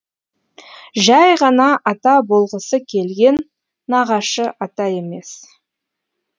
жай ғана ата болғысы келген нағашы ата емес